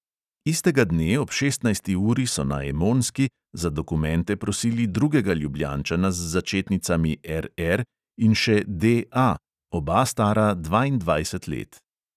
Istega dne ob šestnajsti uri so na emonski za dokumente prosili drugega ljubljančana z začetnicami R R in še D A, oba stara dvaindvajset let.